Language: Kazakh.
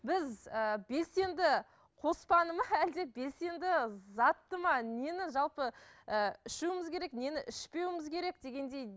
біз ііі белсенді қоспаны ма әлде белсенді затты ма нені жалпы ііі ішуіміз керек нені ішпеуіміз керек дегендей